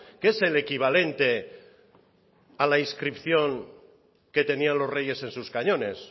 que es el equivalente a la inscripción que tenían los reyes en sus cañones